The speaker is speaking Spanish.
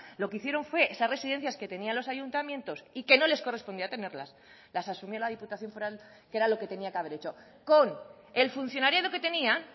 lo que hicieron fue esas residencias que tenían los ayuntamientos y que no les correspondía tenerlas las asumió la diputación foral que era lo que tenía que haber hecho con el funcionariado que tenían